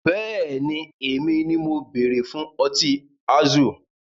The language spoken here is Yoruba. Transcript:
Bẹ́ẹ̀ni, èmi ni mo bere fún Ọtí Azul